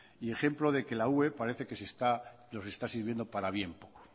y ejemplo de que la ue nos está sirviendo para bien poco